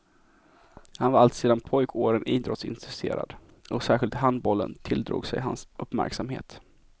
Han var alltsedan pojkåren idrottsintresserad, och särskilt handbollen tilldrog sig hans uppmärksamhet.